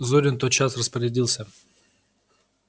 зурин тотчас распорядился